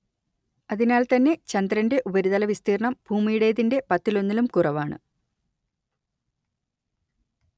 അതിനാൽ തന്നെ ചന്ദ്രന്റെ ഉപരിതല വിസ്തീർണ്ണം ഭൂമിയുടേതിന്റെ പത്തിലൊന്നിലും കുറവാണ്